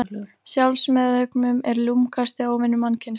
Sjálfsmeðaumkun er lúmskasti óvinur mannkyns.